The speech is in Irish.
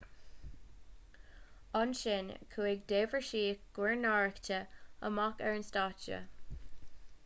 ansin chuaigh deirbhísigh guairneánacha amach ar an stáitse